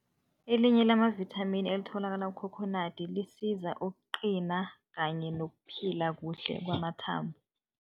Elinye lamavithamini elitholakala kukhokhonadi lisiza ukuqina kanye nokuphila kuhle kwamathambo.